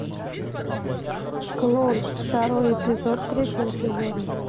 клон второй эпизод третьего сезона